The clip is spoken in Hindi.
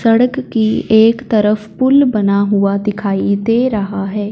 सड़क की एक तरफ पुल बना हुआ दिखाई दे रहा है।